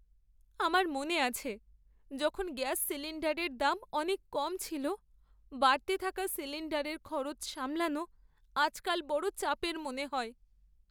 আমার মনে আছে, যখন গ্যাস সিলিণ্ডারের দাম অনেক কম ছিল। বাড়তে থাকা সিলিণ্ডারের খরচ সামলানো আজকাল বড় চাপের মনে হয়।